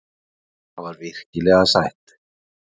Það var virkilega sætt.